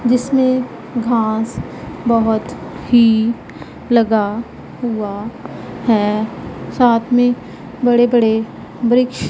जिसमें घास बहोत ही लगा हुआ है साथ में बड़े बड़े वृक्ष--